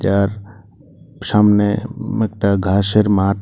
আর সামনে উম একটা ঘাসের মাঠ।